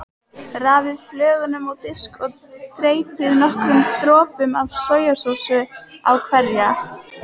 Raðið flögunum á disk og dreypið nokkrum dropum af sojasósu á hverja.